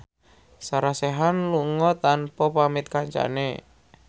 Sarah Sechan lunga tanpa pamit kancane